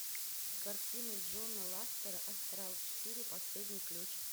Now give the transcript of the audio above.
картина джона лассетера астрал четыре последний ключ